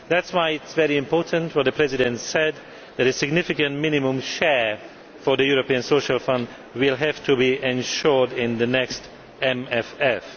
That is why it is very important, as the President said, that a significant minimum share for the European Social Fund will have to be ensured in the next MFF.